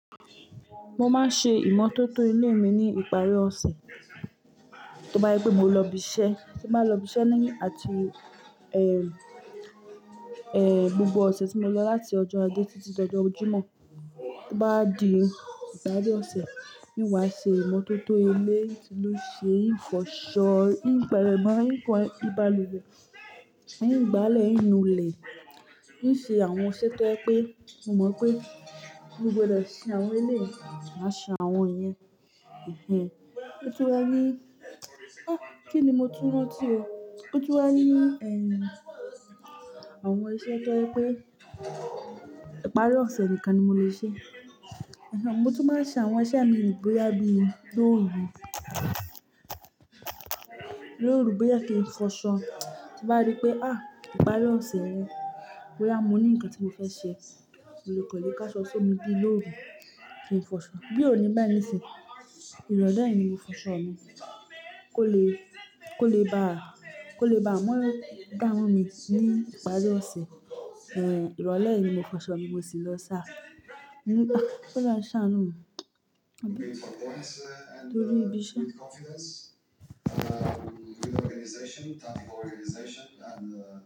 Mo máa ń ṣe ìmọ́tótó ilé mi ní ìparí ọ̀sẹ̀. To bá je pe mo lọ ibi iṣẹ́, tí mo bá lọ ibi iṣẹ́ ní àti, ẹ́, ẹ́, gbogbo ọ̀sẹ̀ tí mo lọ láti ọjọ́ Ajé títí lọjọ́ jimọ́, tí ó bá di ìparí ọ̀sẹ̀, ni wàá ṣe ìmọ́tótó ilé, tí ó ṣe, fọṣọ, ń gbale mọ́, ń kan, ń ba luwẹ̀, ń gbálẹ̀, ń nu ilẹ̀, ń ṣe àwọn iṣẹ́ tó je wi pé, mo mọ̀ pé mo gbọdọ̀ ṣe àwọn iléyi màá ṣe àwọn ìyẹn. Ẹ̀hẹn. Ó tún wá ní, ah kí ni mo tún rantì ó? Ó tún wá ní, ẹ́, àwọn iṣẹ́ tó je wipé. Ìparí ọ̀sẹ̀ nìkan ni mo lè ṣe. Ẹ̀hẹn. Mo tún máa ṣe àwọn iṣẹ́ mi boyà bí lóru. Ní òru, bóyá kí n fọṣọ, tí bá rí pé, há, ìparí ọ̀sẹ̀ rẹ, bóyá mo ní ǹkan tí mo fẹ́ ṣe, mo kan lè kọ́lé káṣọ sómi bí lóru kí n fọṣọ. Bí òní báyì nisi, ìrọ̀lẹ́ yìí ni mo fọṣọ mi. Kó le, kó le bá, kó le bá mọ́ dáwọn mi sí ìparí ọ̀sẹ̀. Ẹ̀hẹn. Ìrọ̀lẹ́ yìí ni mo fọṣọ mi, mo sì lọ sá. Mo ní, ah, bóluwa a ṣàánú mi. Lórí ibi iṣẹ́.